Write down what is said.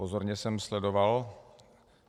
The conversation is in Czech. Pozorně jsem sledoval.